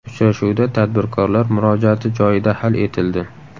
Uchrashuvda tadbirkorlar murojaati joyida hal etildi.